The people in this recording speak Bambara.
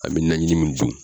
A bɛ najini min dun.